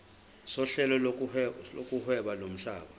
sohlelo lokuhweba lomhlaba